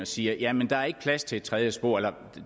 siger jamen der er ikke plads til et tredje spor eller